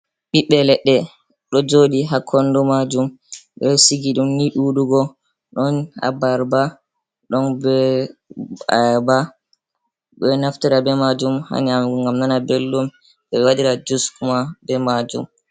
Ɓiɓɓe leɗɗe ɗo joɗi ha kondo majum ɓeɗo sigi dum ni ɗuɗugo ɗon abarba, ɗon be ayaba ɓeɗo naftira be majum ha nyamugo ngam nana belɗum ɓe wadira jus kuma ɓe majum.